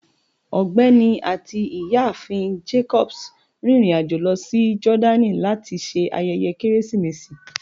Ọgbẹni ati Iyaafin Jacobs rin irin-ajo lọ si Jordani lati ṣe ayẹyẹ Keresimesi